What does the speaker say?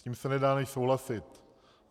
S tím se nedá než souhlasit.